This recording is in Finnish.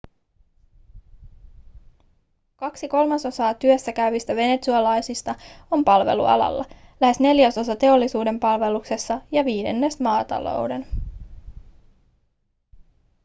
kaksi kolmasosaa työssä käyvistä venezuelalaisista on palvelualalla lähes neljäsosa teollisuuden palveluksessa ja viidennes maatalouden